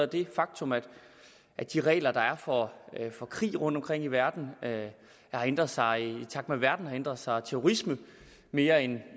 det faktum at at de regler der er for for krig rundtomkring i verden har ændret sig i takt med at verden har ændret sig og at terrorisme mere end